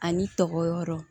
Ani tɔgɔ wɛrɛw